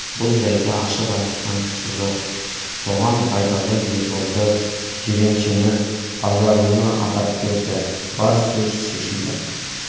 бұл жайды ашып айтысқан кісі жоқ оған байдалы ерболды жиреншені базаралыны атап берді бар сөз шешілді